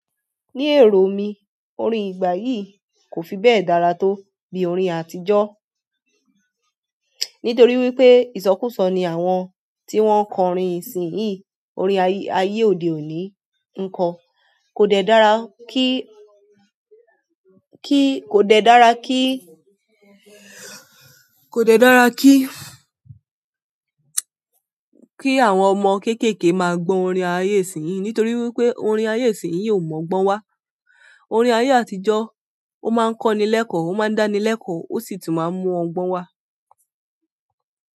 Ní èrò mí, orin ìgbà yí kò fi bẹ́ẹ̀ dára tó bí orin àtijọ́. Nítorí wípé ìsọkúsọ ni àwọn tí wọn ń kọ orin ìsìn yìí, orin ayé òde òni ńkọ́ kò dẹ dára kí, kí, kò dẹ dára kí, kò dẹ dára kí, kí àwọn ọmọ kéékèèké máa gbọ́ orin ayé ìsìn yìí, nítorí wípé orin ayé ìsìn yìí ò mọ̀ ọgbọ́n wá. Orin ayé àtijọ́, ó máa ń kọ́ni l'ẹ́kọ̀ọ́, ó máa ń dání l'ẹ́kọ̀ọ́, ó sì tún máa ń mú ọgbọ́n wá.